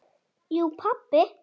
Jú pabbi.